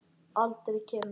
Aldrei skemur.